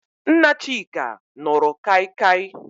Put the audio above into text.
Nna Chika nụrụ kaikai.